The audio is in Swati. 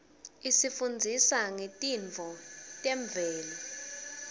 isifundzisa ngetintfo temvelo